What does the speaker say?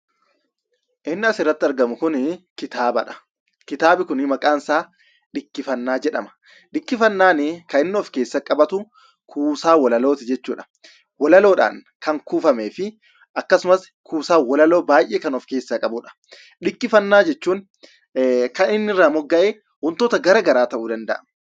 Inni asirratti argamu kun kitaabadha. Kitaabni kun maqaansaa "Dhikkifannaa" jedhama. Dhikkifannaan kaninni ofkeessatti qabatu kuusaa walalooti jechuudha. Walaloodhan kan kuufameefi akkasumas walaloo baay'ee kan of keessaa qabudha. Dhikkifannaa jechuun kan inni irraa mogga'e wantoota gara garaa ta'uu danda'a.